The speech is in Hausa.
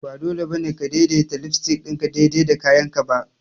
Ba dole ba ne ka daidaita lipstick ɗinka daidai da kayanka ba!